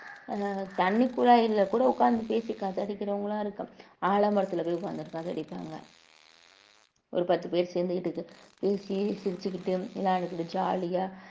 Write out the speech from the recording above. ஆஹ் தண்ணி குழாய்ல கூட உட்கார்ந்து பேசி கதையடிக்கிறவங்களா இருக்கோம் ஆலமரத்துல போய் உட்கார்ந்து காதடிப்பாங்க ஒரு பத்து பேர் சேர்ந்துகிட்டு பேசி சிரிச்சுக்கிட்டு விளையாண்டுக்கிட்டு jolly ஆ